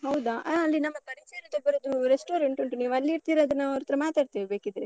ಹೌದಾ? ಆಹ್ ಅಲ್ಲಿ ನಮ್ಮ ಪರಿಚಯದಲ್ಲಿ ಒಬ್ಬರದ್ದು restaurant ಉಂಟು. ನೀವಲ್ಲಿರ್ತೀರಾದ್ರೆ ನಾವ್ ಅವ್ರ ಹತ್ರ ಮಾತಾಡ್ತೇವೆ ಬೇಕಿದ್ರೆ.